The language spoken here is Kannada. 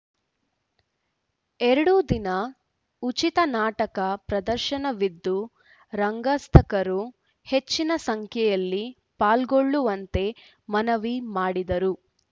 ಎರಡೂ ದಿನ ಉಚಿತ ನಾಟಕ ಪ್ರದರ್ಶನವಿದ್ದು ರಂಗಾಸಕ್ತರು ಹೆಚ್ಚಿನ ಸಂಖ್ಯೆಯಲ್ಲಿ ಪಾಲ್ಗೊಳ್ಳುವಂತೆ ಮನವಿ ಮಾಡಿದರು